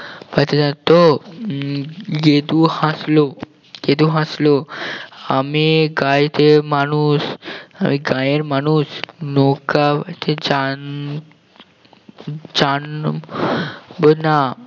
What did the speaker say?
বাইতে জানেন তো উম গেদু হাসলো গেদু হাসলো আমি গাঁইতে মানুষ আমি গাঁয়ের মানুষ নৌকা বাইতে জান জানবো না